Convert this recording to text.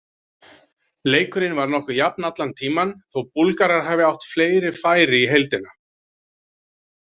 Leikurinn var nokkuð jafn allan tímann, þó Búlgarar hafi átt fleiri færi í heildina.